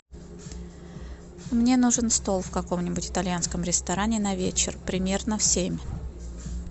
мне нужен стол в каком нибудь итальянском ресторане на вечер примерно в семь